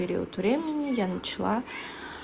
период времени я начала